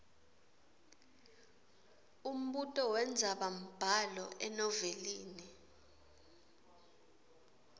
umbuto wendzabambhalo enovelini